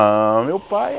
Ãh, meu pai